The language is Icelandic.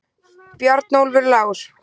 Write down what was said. Bjarnólfur Lár!